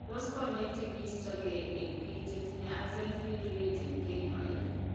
Tos konyek che kiisto gee eng' biko che tinye Axenfeld Rieger kenyoi?